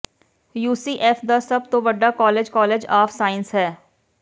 UCF ਦਾ ਸਭ ਤੋਂ ਵੱਡਾ ਕਾਲਜ ਕਾਲਜ ਆਫ ਸਾਇੰਸਜ਼ ਹੈ